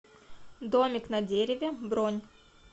домик на дереве бронь